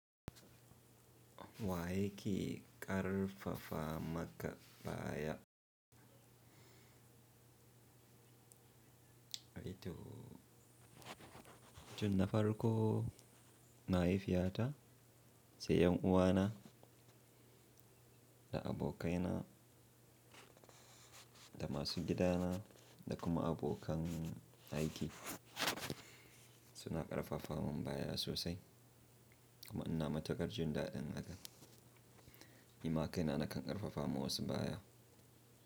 Wa yake ƙarfafa maka baya? Eh to, tunda farko mahaifiya ta, sai 'yan uwa na, da abokai na, da masu gida na da kuma abokan aiki suna ƙarfafa min baya sosai kuma ina mataƙar jindadin haka. Nima kai na nakan ƙarfafa ma wasu baya.